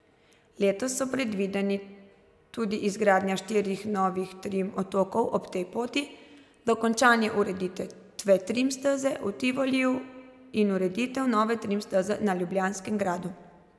Letos so predvideni tudi izgradnja štirih novih trim otokov ob tej poti, dokončanje ureditve trim steze v Tivoliju in ureditev nove trim steze na ljubljanskem gradu.